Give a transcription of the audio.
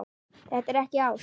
Þetta er ekki ást.